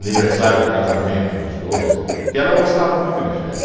Aniversário de casamento dos dois, que que ela gostava muito de festa.